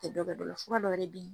fura dɔwɛrɛ be yen.